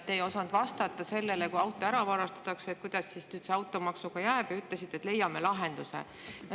Te ei osanud vastata sellele, et kui auto ära varastatakse, kuidas siis automaksuga jääb, ja ütlesite, et leiame lahenduse.